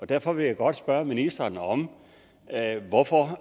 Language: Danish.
derfor vil jeg godt spørge ministeren om hvorfor